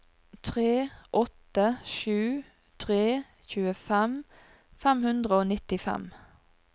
tre åtte sju tre tjuefem fem hundre og nittifem